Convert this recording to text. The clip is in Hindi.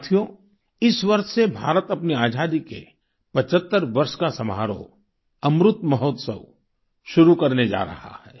साथियो इस वर्ष से भारत अपनी आजादी के 75 वर्ष का समारोह अमृत महोत्सव शुरू करने जा रहा है